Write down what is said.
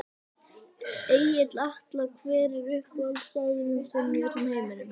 Egill Atla Hver er uppáhaldsstaðurinn þinn í öllum heiminum?